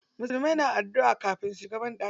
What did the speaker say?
Musulmai na adduʼa kafin su shiga banɗaki.